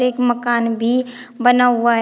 एक मकान भी बना हुआ है।